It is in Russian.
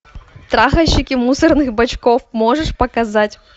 трахальщики мусорных бачков можешь показать